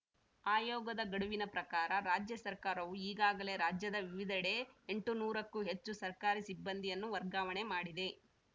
ಆಯೋಗದ ಗಡುವಿನ ಪ್ರಕಾರ ರಾಜ್ಯ ಸರ್ಕಾರವು ಈಗಾಗಲೇ ರಾಜ್ಯದ ವಿವಿಧೆಡೆ ಎಂಟು ನೂರಕ್ಕೂ ಹೆಚ್ಚು ಸರ್ಕಾರಿ ಸಿಬ್ಬಂದಿಯನ್ನು ವರ್ಗಾವಣೆ ಮಾಡಿದೆ